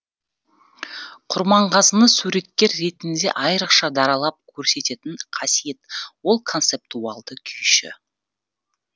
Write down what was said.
құрманғазыны суреткер ретінде айрықша даралап көрсететін қасиет ол концептуалды күйші